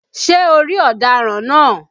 Ṣé o ri ọ̀daràn náà?